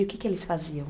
E o que que eles faziam?